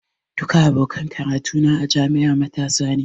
Duka abokan karatu na a jami'a matasa ne.